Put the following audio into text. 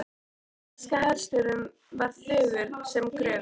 Breska herstjórnin var þögul sem gröfin.